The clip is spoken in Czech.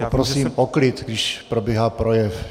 Poprosím o klid, když probíhá projev.